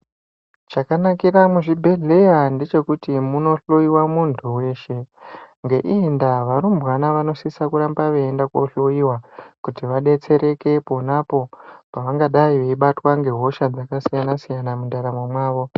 Chakanakira muzvibhedhleya ngechekuti munohloiwa muntu weshe. Ngeiyi ndaa varumbwana vanosise kuramba veiende kohloiwa, kuti vadetsereke pona apo, pangadai veibatwa ngehosha dzakasiyana-siyana mundaramo mavo.